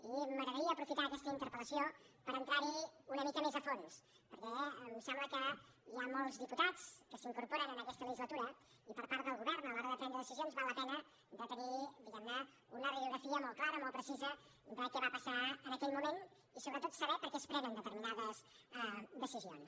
i m’agradaria aprofitar aquesta interpel·lació per entrar hi una mica més a fons perquè em sembla que hi ha molts diputats que s’incorporen en aquesta legislatura i per part del govern a l’hora de prendre decisions val la pena de tenir diguem ne una radiografia molt clara molt precisa de què va passar en aquell moment i sobretot saber per què es prenen determinades decisions